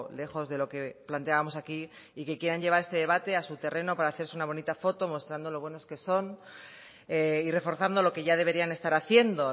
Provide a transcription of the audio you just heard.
lejos de lo que planteábamos aquí y que quieran llevar este debate a su terreno para hacerse una bonita foto mostrando lo buenos que son y reforzando lo que ya deberían estar haciendo